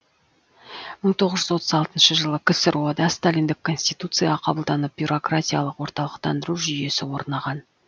мың тоғыз жүз отыз алтыншы жылы ксро да сталиндік конституция қабылданып бюрократиялық орталықтандыру жүйесі орнаған